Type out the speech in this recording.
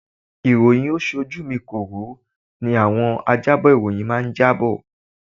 Iroyin ó-ṣojú mi kòró ni àwọn ajábọ̀ ìròyìn máa jábọ̀.